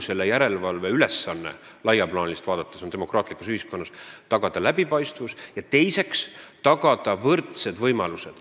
Laiemalt vaadates on kogu järelevalve ülesanne demokraatlikus ühiskonnas tagada esiteks läbipaistvus ja teiseks võrdsed võimalused.